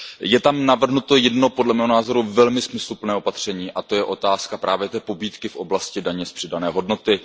Je tam navrhnuto jedno, podle mého názoru, velmi smysluplné opatření, a to je otázka právě té pobídky v oblasti daně z přidané hodnoty.